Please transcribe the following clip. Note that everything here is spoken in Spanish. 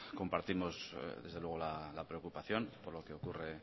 compartimos desde luego la preocupación por lo que ocurre